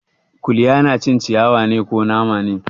Kuliya na cin ciyawa ne, ko nama ne?